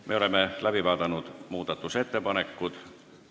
Me oleme muudatusettepanekud läbi vaadanud.